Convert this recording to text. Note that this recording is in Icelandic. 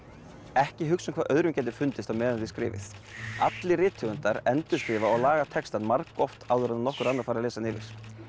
ekki hugsa um hvað öðrum gæti fundist á meðan þið skrifið allir rithöfundar endurskrifa og laga textann margoft áður en nokkur annar fær að lesa hann yfir